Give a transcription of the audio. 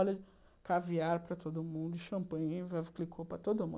Olha, caviar para todo mundo, champanhe, para todo mundo.